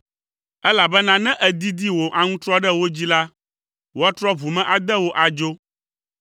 elabena ne èdidi wò aŋutrɔ ɖe wo dzi la, woatrɔ ʋu me ade wò adzo.